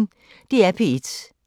DR P1